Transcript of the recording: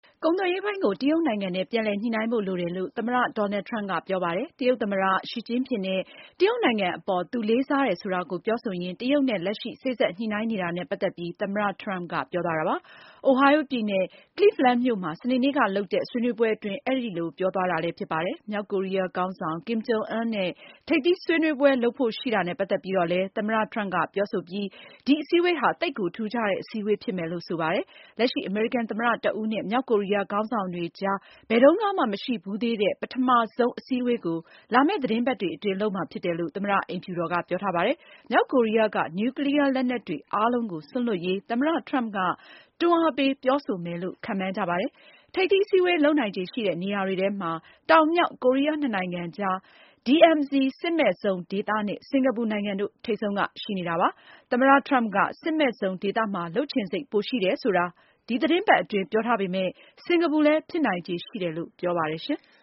ကုန်သွယ်ရေးပိုင်းကို တရုတ်နိုင်ငံနဲ့ ပြန်လည် ညှိနှိုင်းဖို့လိုတယ်လို့ သမ္မတ ဒေါ်နယ်လ်ဒ် ထရမ့်ပ်က ပြောပါတယ်။ တရုတ်သမ္မတ ရှီ ကျင့်ဖျင်နဲ့ တရုတ်နိုင်ငံအပေါ် သူလေးစားတယ်ဆိုတာကို ပြောဆိုရင်းနဲ့ တရုတ်နဲ့ လက်ရှိ စေ့စပ်ညှိနှိုင်းနေတာနဲ့ပတ်သက်ပြီး သမ္မတထရမ့်ပ်က ပြောသွားတာပါ။ Ohio ပြည်နယ်၊ Cleveland မြို့မှာ စနေနေ့ကလုပ်တဲ့ ဆွေးနွေးပွဲအတွင်း အဲဒီလိုပြောသွားတာလည်းဖြစ်ပါတယ်။ မြောက်ကိုရီးယားခေါင်းဆောင် Kim Jong Un နဲ့ ထိပ်သီးစည်းဝေးပွဲလုပ်ဖို့ရှိတာနဲ့ ပတ်သက်ပြီးတော့ သမ္မတထရမ့်ပ်က ပြောဆို ပြီး ဒီအစည်းအဝေးဟာ သိပ်ကို ထူးခြားတဲ့အစည်းအဝေးဖြစ်မယ်လို့ ဆိုပါတယ်။ လက်ရှိ အမေရိကန်သမ္မတတဦးနဲ့ မြောက်ကိုရီးယားခေါင်းဆောင်တွေကြား ဘယ်တုန်းကမှမရှိဖူးသေးတဲ့ ပထမဆုံးအစည်း အဝေးကို လာမယ့်သီတင်းပတ်တွေအတွင်း လုပ်မှာဖြစ်တယ်လို့ သမ္မတအိမ်ဖြူတော်က ပြောထားပါတယ်။ မြောက်ကိုရီးယားက နျူကလီးယားလက်နက်တွေအားလုံးကို စွန့်လွှတ်ရေး သမ္မတထရမ့်ပ်က တွန်းအားပေး ပြောဆိုမယ်လို့ ခန့်မှန်းကြပါတယ်။ ထိပ်သီးအစည်းအဝေးလုပ်နိုင်ခြေရှိတဲ့ နေရာတွေထဲမှာ တောင် မြောက် ကိုရီးယားနှစ်နိုင်ငံအကြား DMZ စစ်မဲ့ဇုန်ဒေသနဲ့ စင်္ကာပူ နိုင်ငံတို့ ထိပ်ဆုံးကရှိနေပါတယ်။ သမ္မတထရမ့်ပ်က စစ်မဲ့ဇုန်ဒေသမှာ လုပ်ချင်စိတ် ပိုရှိတယ်ဆိုတာ ဒီသီတင်းပတ်အတွင်း ပြောထားပေမဲ့ စင်္ကာပူလည်း ဖြစ်နိုင်ခြေ ရှိတယ်လို့ ပြောပါတယ်။